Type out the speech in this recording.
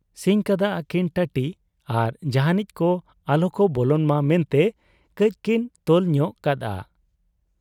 ᱥᱤᱧ ᱠᱟᱫ ᱟ ᱠᱤᱱ ᱴᱟᱹᱴᱤ ᱟᱨ ᱡᱟᱦᱟᱸᱱᱤᱡ ᱠᱚ ᱟᱞᱚᱠᱚ ᱵᱚᱞᱚᱱ ᱢᱟ ᱢᱮᱱᱛᱮ ᱠᱟᱹᱡᱠᱤᱱ ᱛᱚᱞ ᱧᱚᱜ ᱠᱟᱫ ᱟ ᱾